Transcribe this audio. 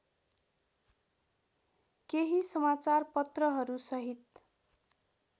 केही समाचारपत्रहरू सहित